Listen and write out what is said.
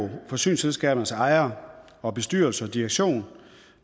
forsyningsselskabernes ejere og bestyrelse og direktion